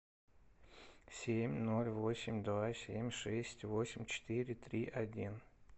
семь ноль восемь два семь шесть восемь четыре три один